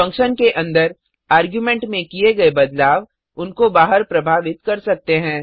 function के अंदर argument में किए गए बदलाव उनको बाहर प्रभावित कर सकते हैं